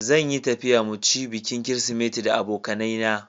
Zan yi tafiya mu ci bikin kirisimeti da abokanaye na.